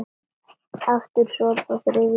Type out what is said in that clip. Aftur sopi, og þriðji sopi.